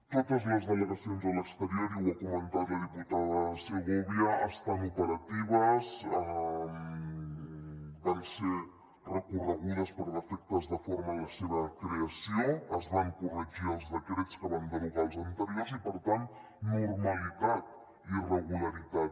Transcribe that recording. totes les delegacions a l’exterior i ho ha comentat la diputada segovia estan operatives van ser recorregudes per defectes de forma en la seva creació es van corregir els decrets que van derogar els anteriors i per tant normalitat i regularitat